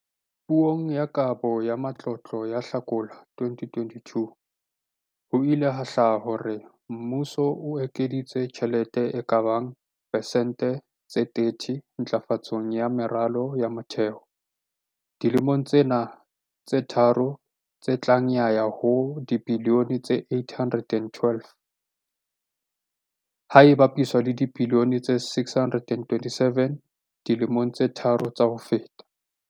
Puong ya Kabo ya Matlotlo ka Hlakola 2022, ho ile ha hlaka hore mmuso o ekeditse tjhelete e ka bang persente tse 30 ntlafatsong ya meralo ya motheo dilemong tsena tse tharo tse tlang ya ya ho dibilione tse R812, ha e bapiswa le dibilione tse R627 dilemong tse tharo tsa ho feta.